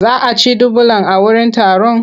Za a ci dubulan a wurin taron?